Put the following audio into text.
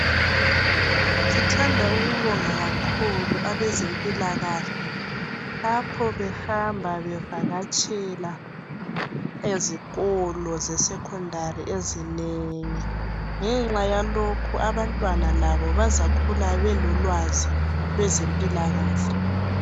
Sithanda ukubonga kakhulu abezempilakahle lapho behamba bevakatshela ezikolo zesecondary ezinengi. Ngenxa yalokhu abantwana labo bazakhula belolwazi kwezempilakahle.